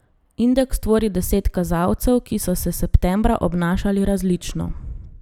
Indeks tvori deset kazalcev, ki so se septembra obnašali različno.